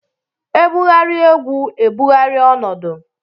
E bugharịa egwu e bugharịa ọnọdụ.